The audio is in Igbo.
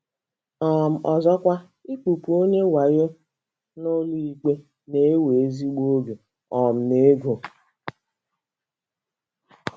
um Ọzọkwa, ịkpụpụ onye wayo n’ụlọikpe na - ewe ezigbo oge um na ego.